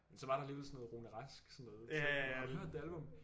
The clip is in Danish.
Men så var der alligevel sådan noget Rune Rask sådan noget har du hørt det album